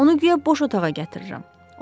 Onu guya boş otağa gətirirəm.